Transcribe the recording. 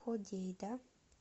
ходейда